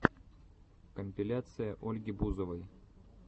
компиляция ольги бузовой